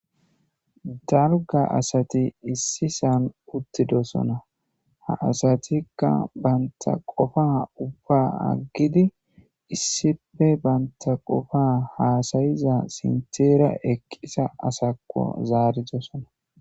Dalgga assathi issisan uttidossonna. Ha assathikka banta qoffa ubba agidi issipe banta qoffa hassaizza sinthera eqqiza assakko zaridossonna.